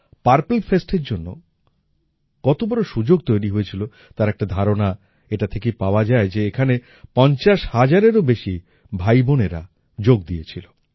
purple Festএর জন্য কত বড় সুযোগ তৈরি হয়েছিল তার একটা ধারণা এটা থেকেই পাওয়া যায় যে এখানে পঞ্চাশ হাজারেরও বেশি ভাইবোনেরা যোগ দিয়েছিল